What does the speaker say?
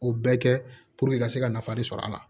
O bɛɛ kɛ ka se ka nafa de sɔrɔ a la